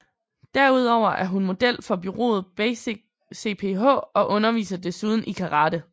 Derudover er hun model for bureauet BasicCPH og underviser desuden i karate